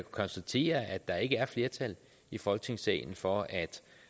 konstatere at der ikke er flertal i folketingssalen for at